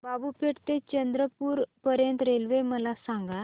बाबूपेठ ते चंद्रपूर पर्यंत रेल्वे मला सांगा